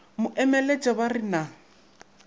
mo emeletša ba re na